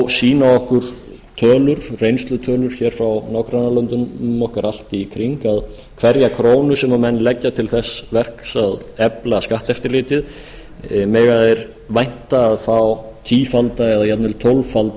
sýna okkur tölur reynslutölur hér frá nágrannalöndum okkar allt í kring að hverja krónu sem menn leggja til þess verks að efla skatteftirlitið mega þeir vænta að fá tífalda eða jafnvel